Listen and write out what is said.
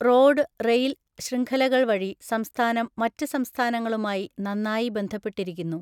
Road, rail ശൃംഖലകൾ വഴി സംസ്ഥാനം മറ്റ് സംസ്ഥാനങ്ങളുമായി നന്നായി ബന്ധപ്പെട്ടിരിക്കുന്നു.